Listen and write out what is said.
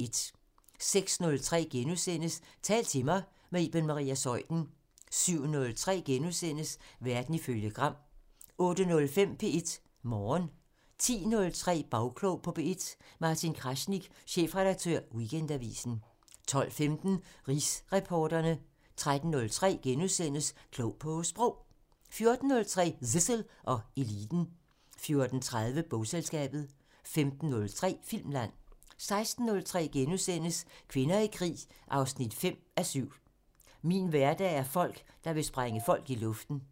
06:03: Tal til mig – med Iben Maria Zeuthen * 07:03: Verden ifølge Gram * 08:05: P1 Morgen 10:03: Bagklog på P1: Martin Kraznik, chefredaktør Weekendavisen 12:15: Rigsretsreporterne 13:03: Klog på Sprog * 14:03: Zissel og Eliten 14:30: Bogselskabet 15:03: Filmland 16:03: Kvinder i krig 5:7 – "Min hverdag er folk, der vil sprænge folk i luften" *